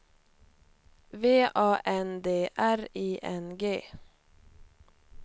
V A N D R I N G